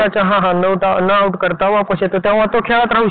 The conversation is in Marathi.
जसं बँक